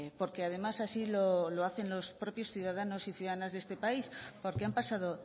porque además así lo hacen los propios ciudadanos y ciudadanas de este país porque han pasado